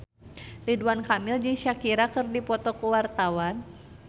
Ridwan Kamil jeung Shakira keur dipoto ku wartawan